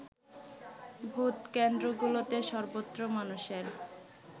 ভোটকেন্দ্রগুলোতে সর্বত্র মানুষের